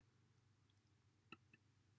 roedd pen y tŵr yn seintwar arbennig i'r duw